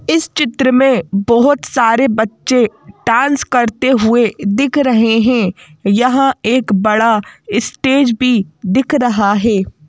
इस चित्र में बहुत सारे बच्चे डांस करते हुए दिख रहे हैं यहाँ एक बड़ा स्टेज भी दिख रहा है।